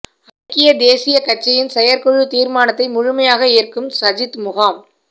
ஐக்கிய தேசிய கட்சியின் செயற்குழு தீர்மானத்தை முழுமையாக ஏற்கும் சஜித் முகாம்